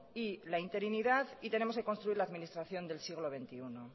y la interinidad y tenemos que construir la administración del siglo veintiuno